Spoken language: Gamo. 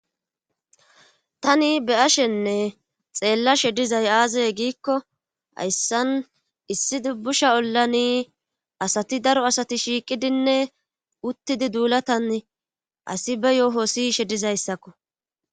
tani be ashenne xeellashe dizay aazaye giikko hayssan issi dubbusha ollani asati daro asati shiiqidinne uttidi duulatan asi be yooho siyshe dizayssakko